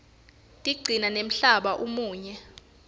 tigcina nemhlaba umuhle